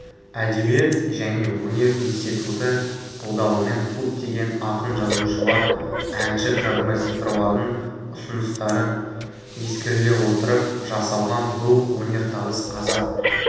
әдебиет және өнер институты қолдауымен көптеген ақын-жазушылар әнші-композиторлардың ұсыныстары ескеріле отырып жасалған бұл өнер табыс қазақ